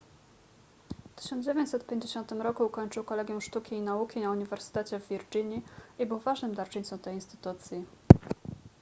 w 1950 roku ukończył kolegium sztuki i nauki na uniwersytecie w virginii i był ważnym darczyńcą tej instytucji